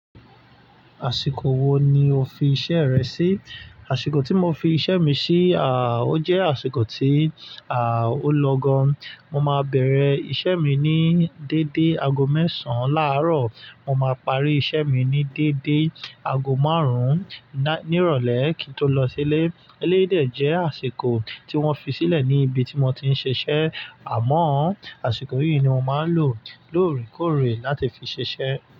Àṣìkò wo ni o fi iṣẹ́ rẹ sí? Àṣìkò tí mo fi iṣẹ́ mi sí, à, ó jẹ́ àsìkò tí, à, ó lọ gan. Mo máa bẹ̀rẹ̀ iṣẹ́ mi ní dédé aago mẹ́sàn-án láàárọ̀, mo máa parí iṣẹ́ mi ní dédé aago márùn-ún ní ìrọ̀lẹ́ kí n tó lọ sílé. Eléyi dè jẹ́ àsìkò tí wọ́n fi sílẹ̀ ní ibi tí mo ti ń ṣiṣẹ́. Àmọ́ àṣìkò yìí ni mo máa ń lò lóòrèkóòrè láti fi ṣiṣẹ́